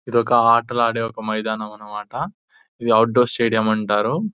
ఇదొక ఆటలాడే మైదానం అని మాట ఇదే అవుట్డోర్ స్టేడియం అంటారు.